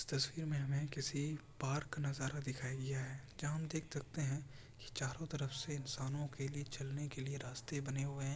इस तस्वीर में हमे किसी पार्क नजारा दिखाई गया है जहां हम देख सकते है चारो तरफ से इंसानों के लिए चलने के लिए रास्ते बने हुए है।